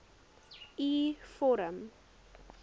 u vorm